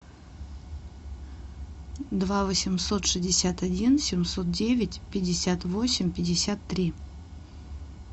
два восемьсот шестьдесят один семьсот девять пятьдесят восемь пятьдесят три